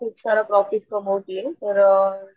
खूप सारा प्रॉफिट कमवतीये तर,